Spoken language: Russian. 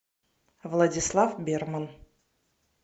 владислав берман